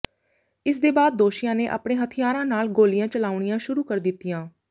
ਇਸਦੇ ਬਾਅਦ ਦੋਸ਼ੀਆਂ ਨੇ ਆਪਣੇ ਹਥਿਆਰਾਂ ਨਾਲ ਗੋਲੀਆਂ ਚਲਾਉਣੀਆਂ ਸ਼ੁਰੂ ਕਰ ਦਿੱਤੀਆਂ